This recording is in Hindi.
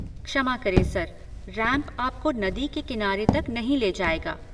क्षमा करें सर, रैंप आपको नदी के किनारे तक नहीं ले जाएगा।